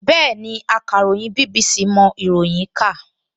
Bẹ́ẹ̀ni, akàròyìn BBC mọ ìròyìn kà